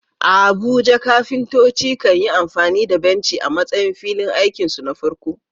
A Abuja, kafintoci kan yi amfani da benci a matsayin filin aikinsu na farko.